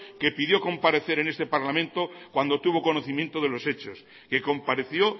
que pidió comparecer en este parlamento cuando tuvo conocimiento de los hechos que compareció